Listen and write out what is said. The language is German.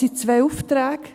Es sind zwei Aufträge.